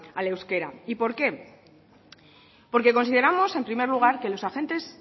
al euskera y por qué porque consideramos en primer lugar que los agentes